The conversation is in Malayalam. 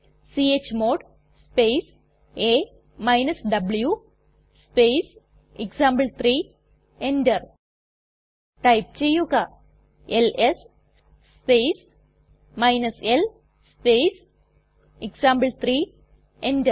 ച്മോഡ് സ്പേസ് a വ്വ് സ്പേസ് എക്സാംപിൾ3 എന്റർ ടൈപ്പ് ചെയ്യുക L S space l space example three enter